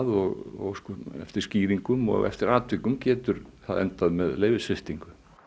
og óskum eftir skýringum og eftir atvikum getur það endað með leyfissviptingu